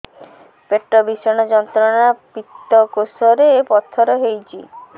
ପେଟ ଭୀଷଣ ଯନ୍ତ୍ରଣା ପିତକୋଷ ରେ ପଥର ହେଇଚି